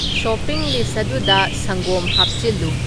shopping list ꯑꯗꯨꯗ ꯁꯪꯒꯣꯝ ꯍꯥꯞꯆꯤꯜꯂꯨ